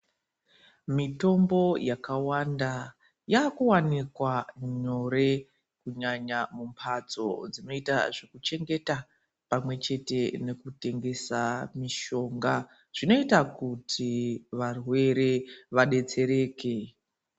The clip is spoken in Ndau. Mitombo yakawanda yakuwanikwa nyore kunyanya mumbatso dzinoita zvekuchengeta pamwe chete nekutengesa mishonga zvinoita kuti varwere vadetsereke.